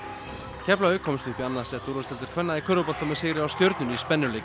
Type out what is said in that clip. Keflavík komst upp í annað sæti úrvalsdeildar kvenna í körfubolta með sigri á stjörnunni í spennuleik